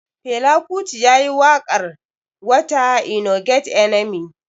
Fela kuti yayi waƙar "water e no get enemy".